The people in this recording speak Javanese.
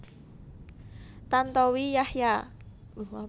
Tantowi Yahya